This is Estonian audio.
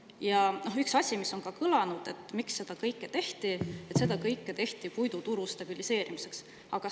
Ja üks asi, mis on ka kõlanud, et miks seda kõike tehti: seda kõike tehti puiduturu stabiliseerimiseks.